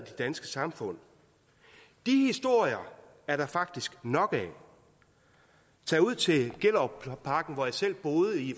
danske samfund de historier er der faktisk nok af tag ud til gellerupparken hvor jeg selv boede